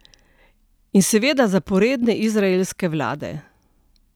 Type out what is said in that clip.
In seveda zaporedne izraelske vlade.